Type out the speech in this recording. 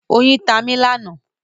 Oyin tá mí lánàá.